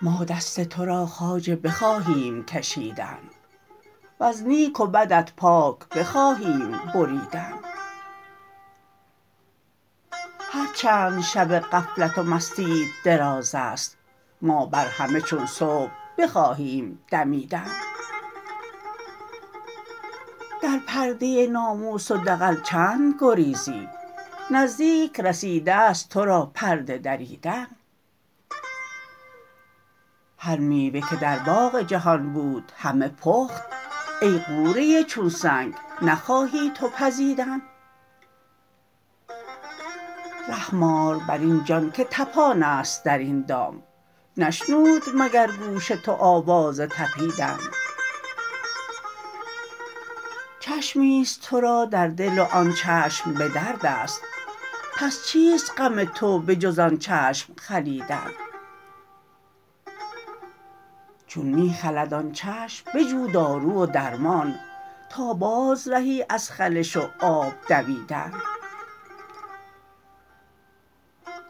ما دست تو را خواجه بخواهیم کشیدن وز نیک و بدت پاک بخواهیم بریدن هر چند شب غفلت و مستیت دراز است ما بر همه چون صبح بخواهیم دمیدن در پرده ناموس و دغل چند گریزی نزدیک رسیده ست تو را پرده دریدن هر میوه که در باغ جهان بود همه پخت ای غوره چون سنگ نخواهی تو پزیدن رحم آر بر این جان که طپان است در این دام نشنود مگر گوش تو آواز طپیدن چشمی است تو را در دل و آن چشم به درد است پس چیست غم تو به جز آن چشم خلیدن چون می خلد آن چشم بجو دارو و درمان تا بازرهی از خلش و آب دویدن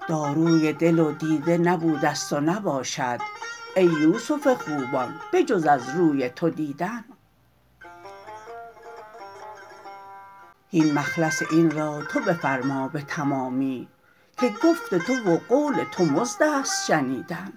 داروی دل و دیده نبوده ست و نباشد ای یوسف خوبان به جز از روی تو دیدن هین مخلص این را تو بفرما به تمامی که گفت تو و قول تو مزد است شنیدن